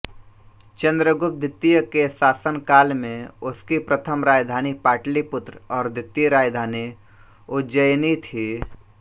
चन्द्रगुप्त द्वितीय के शासन काल में उसकी प्रथम राजधानी पाटलिपुत्र और द्वितीय राजधानी उज्जयिनी थी